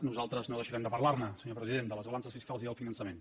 nosaltres no deixarem de parlar ne senyor president de les balances fiscals i del finançament